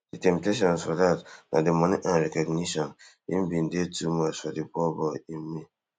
di temptations for dat na di money and recognition im bin dey too much for di poor boy in me